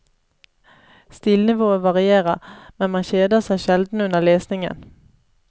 Stilnivået varierer, men man kjeder seg sjelden under lesningen.